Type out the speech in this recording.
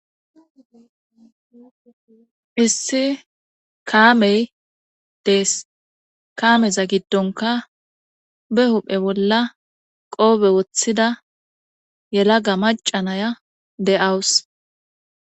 issi kaamey dees kaameza giddonka be huphe bolla qoobe woththida yelaga macanaya de7awus.